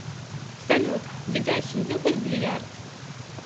салют ведяхин любит бильярд